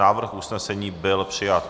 Návrh usnesení byl přijat.